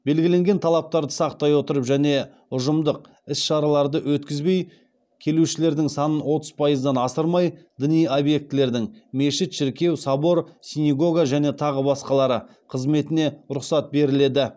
белгіленген талаптарды сақтай отырып және ұжымдық іс шараларды өткізбей келушілердің санын отыз пайыздан асырмай діни объектілердің қызметіне рұқсат беріледі